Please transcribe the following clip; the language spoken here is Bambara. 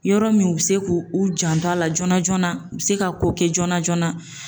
Yɔrɔ min u be se k'u u janto a la joona joona u bi se ka ko kɛ joona joona